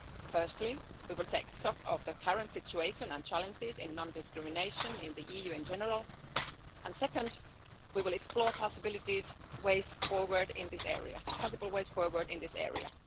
Firstly, we will take stock of the current situation and challenges in non discrimination in the EU in general, and second, we will explore possible ways forward in this area.